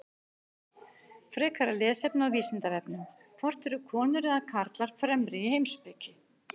Frekara lesefni á Vísindavefnum: Hvort eru konur eða karlar fremri í heimspeki?